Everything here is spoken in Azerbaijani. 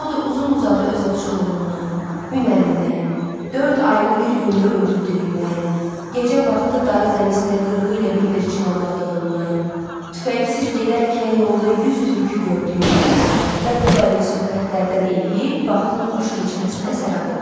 O da uzun-uzadı öz ovçuluğundan, hünərindən, dörd ayını bir gündə öldürdüyündən, gecə vaxtı darı zəmisinə qırığı ilə bildirçin ovladığından, tüfəngsiz gedərkən yolda 100 tülkü gördüyündən və bu qəbil söhbətlərdən eləyib vaxtın xoş keçməsinə səbəb olur.